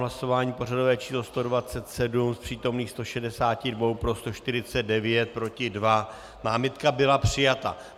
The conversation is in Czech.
Hlasování pořadové číslo 127, z přítomných 162 pro 149, proti 2, námitka byla přijata.